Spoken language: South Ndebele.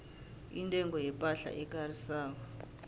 intengo yepahla ekarisako